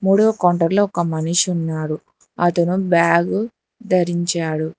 మూడో కౌంటర్ లో ఒక మనిషి ఉన్నాడు అతను బ్యాగు ధరించాడు.